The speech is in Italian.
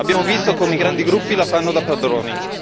Abbiamo visto come i grandi gruppi la fanno da padroni.